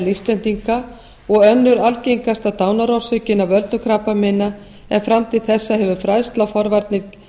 íslendinga og önnur algengasta dánarorsökin af völdum krabbameina en fram til þessa hefur fræðsla og forvarnir